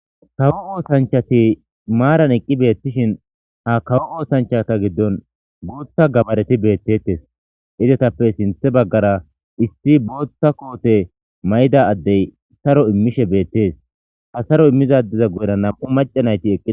Nam7u oosanchati maaran eqqi beettishin hakawo oosanchata giddon guutha gabareti beettedttes. Izetappe sinthe baggara issi booththa koote mayida addey saro immishe beettees. Ha saro immiza addeza guyera nam7u mac'c'ati deettes.